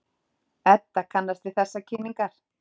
Edda kannast við þessar kynningar.